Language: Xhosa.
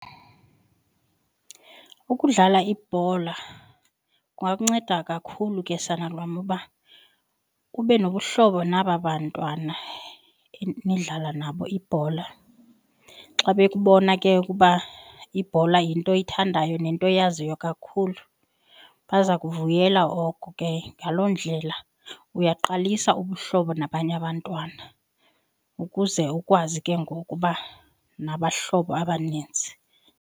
Ukudlala ibhola kungakunceda kakhulu ke, sanalwam, uba ube nobuhlobo naba bantwana nidlala nabo ibhola. Xa bekubona ke ukuba ibhola yinto oyithandayo nento oyaziyo kakhulu bazakuvuyela oko ke, ngaloo ndlela uyaqalisa ubuhlobo nabanye abantwana ukuze ukwazi ke ngoku uba nabahlobo abaninzi.